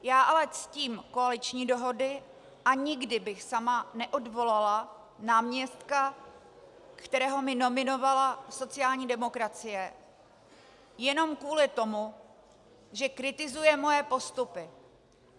Já ale ctím koaliční dohody a nikdy bych sama neodvolala náměstka, kterého mi nominovala sociální demokracie, jenom kvůli tomu, že kritizuje moje postupy.